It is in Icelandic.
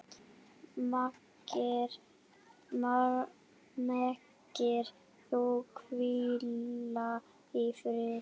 Megir þú hvíla í friði.